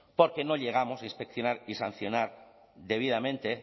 porque no llegamos a inspeccionar y sancionar debidamente